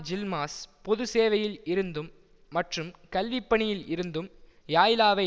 ஜில்மாஸ் பொதுச்சேவையில் இருந்தும் மற்றும் கல்விப்பணியில் இருந்தும் யாய்லாவை